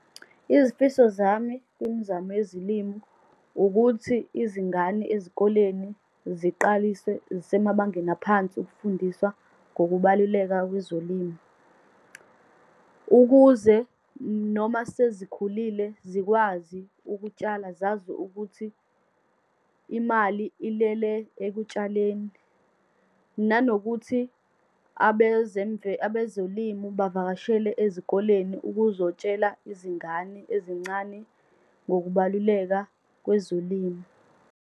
Izifiso zami kwimizamo yezilimu, ukuthi izingane ezikoleni ziqalise zisemabangeni aphansi ukufundiswa ngokubaluleka kwezolimo. Ukuze noma sezikhulile zikwazi ukutshala, zazi ukuthi imali ilele ekutshaleni, nanokuthi abezolimu bavakashele ezikoleni ukuzokutshela izingane ezincane ngokubaluleka kwezolimo.